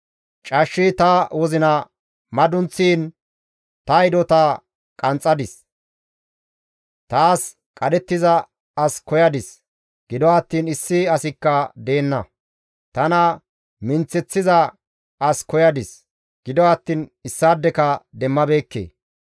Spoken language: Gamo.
Cashshi ta wozina madunththiin ta hidota qanxxadis. Taas qadhettiza as koyadis; gido attiin issi asikka deenna. Tana minththeththiza as koyadis; gido attiin issaadeka demmabeekke.